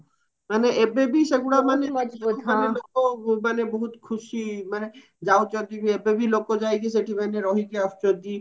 ମାନେ ଏବେ ବି ସେଗୁଡା ମାନେ ଲୋକ ମାନେ ବହୁତ ଖୁସି ମାନେ ଯାଉଛନ୍ତି ବି ଏବେବି ଲୋକ ଯାଇକି ସେଠି ମାନେ ରହିକି ଆସୁଚନ୍ତି